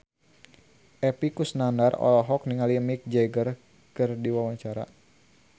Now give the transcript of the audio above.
Epy Kusnandar olohok ningali Mick Jagger keur diwawancara